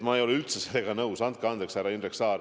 Ma ei ole üldse sellega nõus, andke andeks, härra Indrek Saar.